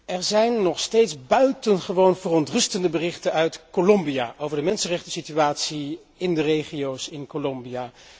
Er zijn nog steeds buitengewoon verontrustende berichten uit Colombia, over de mensenrechtensituatie in de regio's in Colombia.